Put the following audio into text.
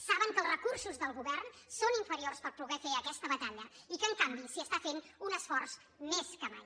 saben que els recursos del govern són inferiors per poder fer aquesta batalla i que en canvi s’hi està fent un esforç més que mai